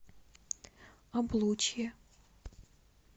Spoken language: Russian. облучье